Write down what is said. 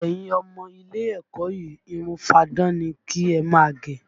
Ẹyin ọmọ ilé ẹ̀kọ́ yìí, irun fáadán ni kí ẹ máa gẹ!